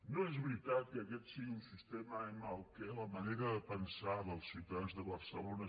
no és veritat que aquest sigui un sistema en què la manera de pensar dels ciutadans de barcelona